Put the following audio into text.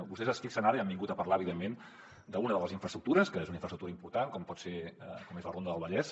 vostès es fixen ara i han vingut a parlar evidentment d’una de les infraestructures que és una infraestructura important com és la ronda del vallès